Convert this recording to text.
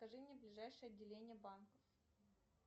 покажи мне ближайшее отделение банка